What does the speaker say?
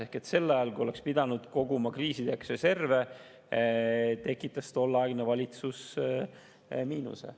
Ehk sel ajal, kui oleks pidanud koguma kriisideks reserve, tekitas tolleaegne valitsus miinuse.